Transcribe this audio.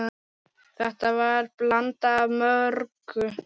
Þetta verður blanda af mörgu.